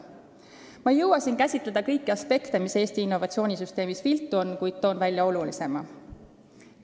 Ma ei jõua siin käsitleda kõike, mis Eesti innovatsioonisüsteemis viltu on, kuid toon välja olulisema.